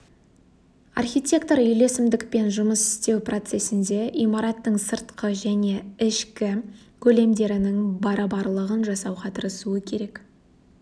архитектор үйлесімдікпен жұмыс істеу процесінде имараттың сыртқы және ішкі көлемдерінің барабарлығын жасауға тырысуы керек